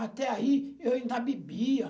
Até aí, eu ainda bebia.